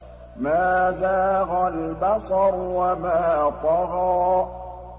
مَا زَاغَ الْبَصَرُ وَمَا طَغَىٰ